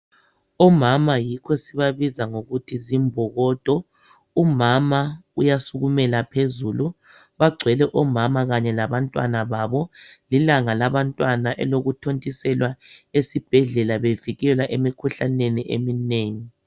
Omama yikho sibabiza ngokuthi zimbokodo. Umama uyasukumela phezulu bagcwele omama kanye labantwana babo lilanga labantwana elokuthontisela esibhedlala bevikelwa emikhuhlaneni eminengi.